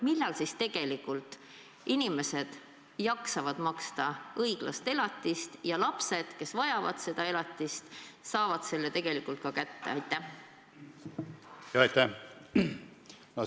Millal siis tegelikult inimesed jaksavad maksta õiglast elatist ja lapsed, kes vajavad seda elatist, saavad selle tegelikult ka kätte?